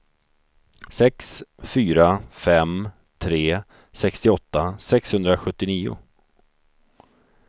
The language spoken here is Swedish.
sex fyra fem tre sextioåtta sexhundrasjuttionio